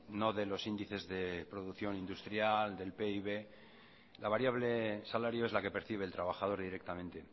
no de los índices de producción industrial del pib la variable salario es la que percibe el trabajador directamente